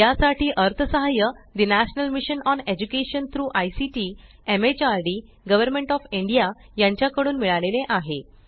यासाठी अर्थसहाय्य the national mission on education through ICT MHRD government of India कडून मिळाले आहे